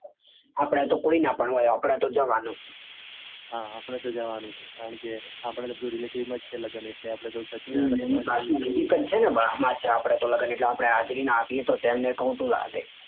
આપડે તો કોઈના હોય આપડે તો જાવાનું. હા આપડે તો જાવાનું. કારણકે એને ખોટું લાગે.